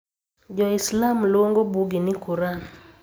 Jo Islam luongo buggi ni Qur'an.